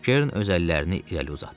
Kern öz əllərini irəli uzatdı.